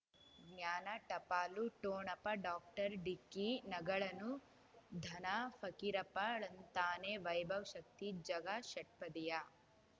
ಜ್ಞಾನ ಟಪಾಲು ಠೋಣಪ ಡಾಕ್ಟರ್ ಢಿಕ್ಕಿ ಣಗಳನು ಧನ ಫಕೀರಪ್ಪ ಳಂತಾನೆ ವೈಭವ್ ಶಕ್ತಿ ಝಗಾ ಷಟ್ಪದಿಯ